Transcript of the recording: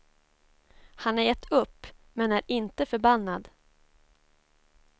Han har gett upp, men är inte förbannad.